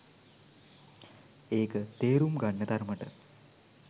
ඒක තේරුම් ගන්න තරමට